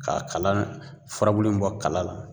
K'a kala furabulu in bɔ kala la